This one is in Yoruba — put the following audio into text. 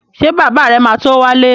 Ṣé bàbá rẹ̀ ma tó wálé?